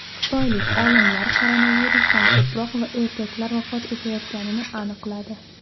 Xitoylik olimlar koronavirusdan ko‘proq erkaklar vafot etayotganini aniqladi.